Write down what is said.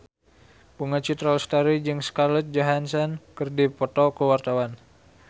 Bunga Citra Lestari jeung Scarlett Johansson keur dipoto ku wartawan